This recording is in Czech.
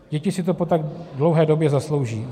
Děti si to po tak dlouhé době zaslouží.